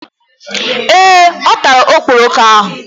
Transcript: Ee, ọ tara okporoko ahụ